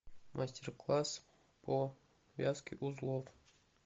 мастер класс по вязке узлов